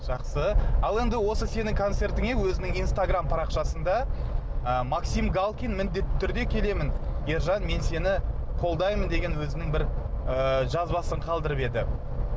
жақсы ал енді осы сенің концертіңе өзінің инстаграм парақшасында ы максим галкин міндетті түрде келемін ержан мен сені қолдаймын деген өзінің бір ы жазбасын қалдырып еді